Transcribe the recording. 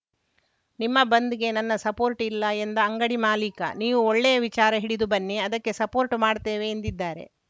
ನಿಮ್ಮ ಬಂದ್‌ಗೆ ನನ್ನ ಸಪೋರ್ಟ್‌ ಇಲ್ಲ ಎಂದ ಅಂಗಡಿ ಮಾಲೀಕ ನೀವು ಒಳ್ಳೆಯ ವಿಚಾರ ಹಿಡಿದು ಬನ್ನಿ ಅದಕ್ಕೆ ಸಪೋರ್ಟ್‌ ಮಾಡ್ತೇವೆ ಎಂದಿದ್ದಾರೆ